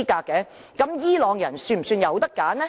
這樣伊朗人是否有選擇呢？